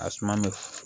A suma bɛ